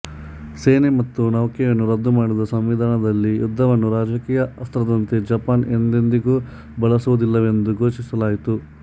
ಸೇನೆ ಮತ್ತು ನೌಕೆಯನ್ನು ರದ್ದು ಮಾಡಿದ ಸಂವಿಧಾನದಲ್ಲಿ ಯುದ್ಧವನ್ನು ರಾಜಕೀಯ ಅಸ್ತ್ರದಂತೆ ಜಪಾನ್ ಎಂದೆಂದಿಗೂ ಬಳಸುವುದಿಲ್ಲವೆಂದು ಘೋಷಿಸಲಾಯಿತು